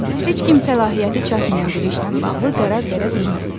Heç kim səlahiyyəti çatmayan biri işlə bağlı qərar verə bilməz.